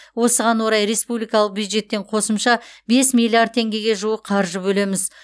осыған орай республикалық бюджеттен қосымша бес миллиард теңгеге жуық қаржы бөлеміз